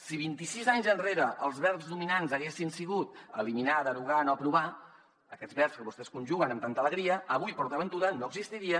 si vint i sis anys enrere els verbs dominants haguessin sigut eliminar derogar no aprovar aquests verbs que vostès conjuguen amb tanta alegria avui port aventura no existiria